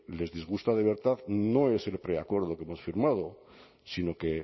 les disgusta de verdad no es el preacuerdo que hemos firmado sino que